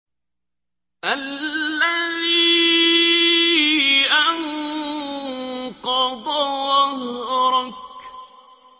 الَّذِي أَنقَضَ ظَهْرَكَ